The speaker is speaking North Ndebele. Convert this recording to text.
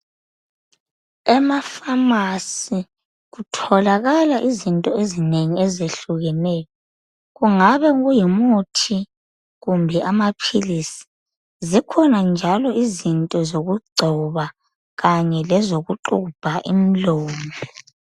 emaphamarcz kutholakala izinto ezinengi ezehlukeneyo kungabe kungumuthi kumbe amaphilisi zikhona njalo izinto zokugcoba kanye lezokugxubha imlomo